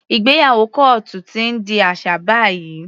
Ìgbéyàwó kọ́ọ́tù ti ń di aṣà báyìí.